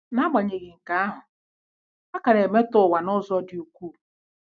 N'agbanyeghị nke ahụ, a ka na-emetọ ụwa n'ụzọ dị ukwuu.